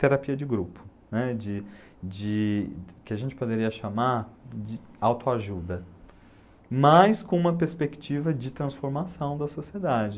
terapia de grupo, né, de de que a gente poderia chamar de autoajuda, mas com uma perspectiva de transformação da sociedade.